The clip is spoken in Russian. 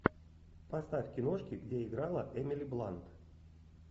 поставь киношки где играла эмили блант